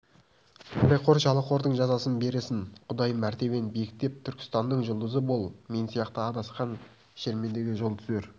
пәлеқор жалақордың жазасын берсін құдай мәртебең биіктеп түркістанның жұлдызы бол мен сияқты адасқан шермендеге жол түзер